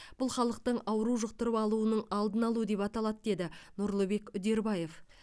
бұл халықтың ауру жұқтырып алуының алдын алу деп аталады деді нұрлыбек үдербаев